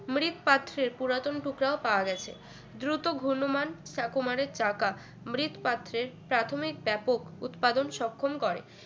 মৃৎপাত্রে পুরাতন টুকরা ও পাওয়ার গেছে দ্রুত ঘূর্ণমান চা কুমারের চাকা মৃৎপাত্রের প্রাথমিক ব্যাপক উৎপাদনে সক্ষম করে